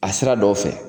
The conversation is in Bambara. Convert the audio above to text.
A sira dɔw fɛ